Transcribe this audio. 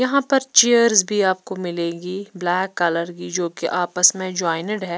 यहां पर चेयर्स भी आपको मिलेगी ब्लैक कलर की जो कि आपस में जॉइनड है।